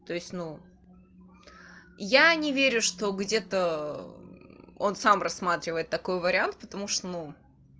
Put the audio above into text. то есть ну я не верю что где-то он сам рассматривает такой вариант потому что ну